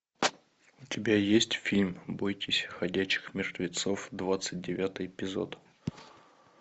у тебя есть фильм бойтесь ходячих мертвецов двадцать девятый эпизод